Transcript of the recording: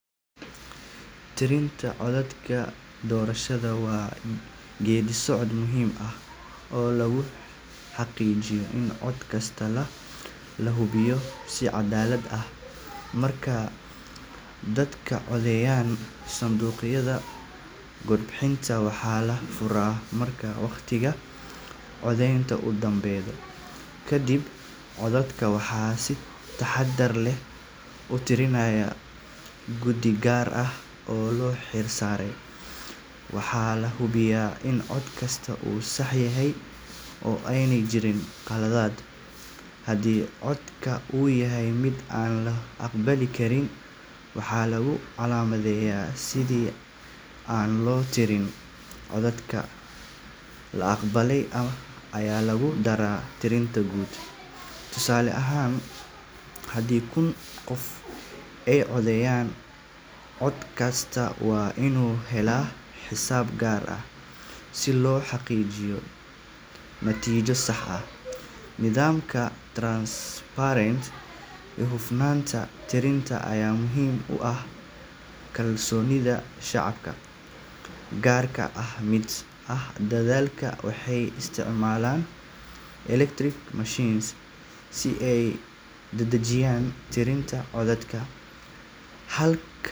Tirinta codadka doorashada waa geeddi-socod muhiim ah oo lagu xaqiijiyo in cod kasta la xisaabiyo si caddaalad ah. Marka dadka codeeyaan, sanduuqyada codbixinta waxaa la furaa marka waqtiga codeynta uu dhammaado. Kadib, codadka waxaa si taxadar leh u tirinaya guddi gaar ah oo loo xil saaray. Waxaa la hubiyaa in cod kasta uu sax yahay oo aanay jirin khaladaad. Haddii codka uu yahay mid aan la aqbali karin, waxaa lagu calaamadeeyaa sidii aan loo tirin. Codadka la aqbalay ayaa lagu daraa tirinta guud. Tusaale ahaan, haddii kun qof ay codeeyeen, cod kasta waa inuu helaa xisaab gaar ah si loo xaqiijiyo natiijo sax ah. Nidaamka transparent iyo hufnaanta tirinta ayaa muhiim u ah kalsoonida shacabka. Qaar ka mid ah dalalka waxay isticmaalaan electronic machines si ay u dedejiyaan tirinta codadka, halka.